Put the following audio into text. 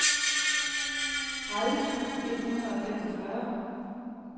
tredive tusind et hundrede og femogfyrre